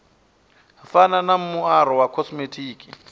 fana na muaro wa khosimetiki